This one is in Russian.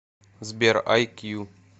сбер ай кью